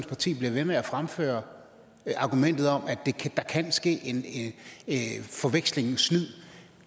parti bliver ved med at fremføre argumentet om at der kan ske forveksling og snyd